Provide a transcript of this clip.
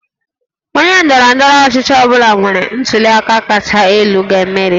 Onye ndọrọ ndọrọ ọchịchị ọ bụla nwere ntuli aka kacha elu ga-emeri